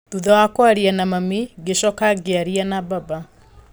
Thutha wa kwaria na mami, ngĩcoka ngĩaria na baba